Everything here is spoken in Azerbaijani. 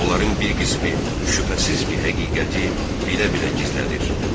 Onların bir qismi şübhəsiz ki, həqiqəti bilə-bilə gizlədir.